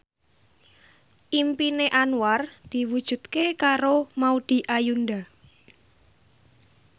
impine Anwar diwujudke karo Maudy Ayunda